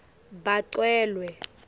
bacelwe